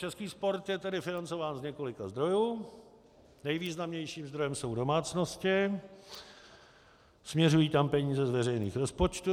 Český sport je tedy financován z několika zdrojů, nejvýznamnějším zdrojem jsou domácnosti, směřují tam peníze z veřejných rozpočtů.